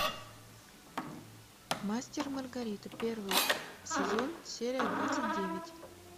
мастер и маргарита первый сезон серия двадцать девять